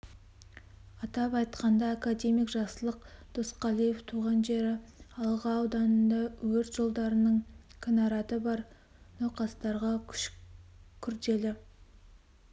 атап айтқанда академик жақсылық досқалиев туған жері алға ауданында өт жолдарының кінараты бар науқастарға үш күрделі